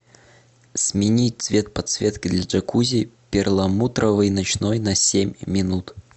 сменить цвет подсветки для джакузи перламутровый ночной на семь минут